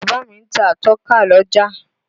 Bàbá mi ń ta atọ́ka l'ọ́jà.